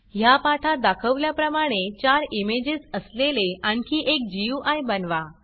ह्या पाठात दाखवल्याप्रमाणे चार इमेजेस असलेले आणखी एक गुई बनवा